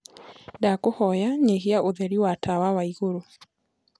ndakũhoya nyĩhĩa utherĩ wa tawa wa iguru